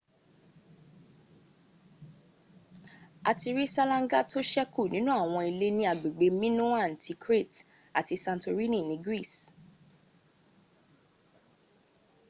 a ti rí ṣálángá tó ṣẹkù nínú àwọn ilé ní agbègbè minoan ti crete àti santorini ní greece